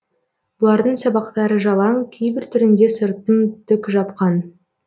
бұлардың сабақтары жалаң кейбір түрінде сыртын түк жапқан